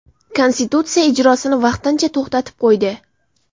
Konstitutsiya ijrosini vaqtincha to‘xtatib qo‘ydi.